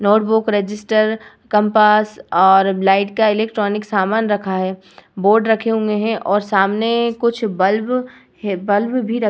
notebook register compass और light का electronic सामान रखा हैं बोर्ड रखे हुए हैं और सामने कुछ बल्ब हैं बल्ब भी रखे --